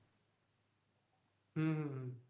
হম হম